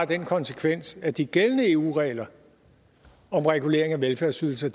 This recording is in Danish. den konsekvens at de gældende eu regler om regulering af velfærdsydelser